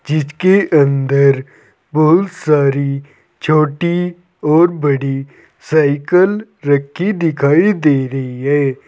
जिसके अंदर बहुत सारी छोटी और बड़ी साइकल रखी दिखाई दे रही है।